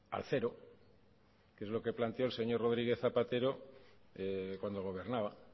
al cero que es lo que planteó el señor rodríguez zapatero cuando gobernaba